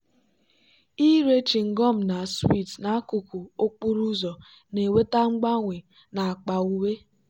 ire chịngọm na sweets n'akụkụ okporo ụzọ na-eweta mgbanwe n'akpa uwe.